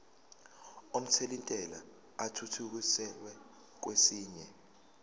omthelintela athuthukiselwa kwesinye